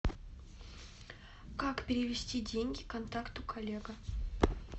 как перевести деньги контакту коллега